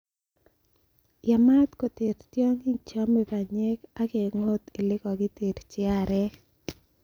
Yaamat koter tiongik cheome banyek ak kengot ele kakikengkyii aarek.